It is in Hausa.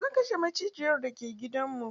Zan kashe macijiyar da ke gidan mu.